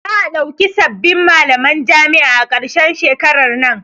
Za'a ɗauki sabbin malaman jami'a a karshen shekaran nan.